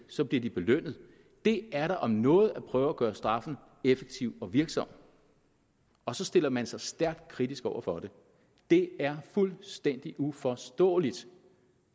så bliver de belønnet det er da om noget at prøve at gøre straffen effektiv og virksom og så stiller man sig stærkt kritisk over for det det er fuldstændig uforståeligt